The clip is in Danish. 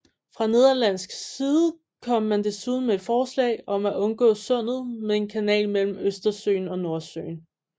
Fra nederlandsk side kom man desuden med et forslag om at undgå sundet med en kanal mellem Østersøen og Nordsøen